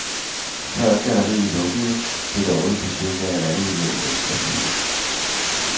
Før galleriet lukkede, blev det årligt besøgt af halvanden million mennesker.